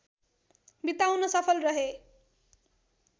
बिताउन सफल रहे